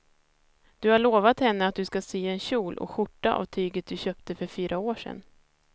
Du har lovat henne att du ska sy en kjol och skjorta av tyget du köpte för fyra år sedan.